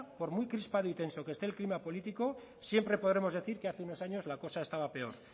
por muy crispado y tenso que esté el clima político siempre podremos decir que hace unos años la cosa estaba peor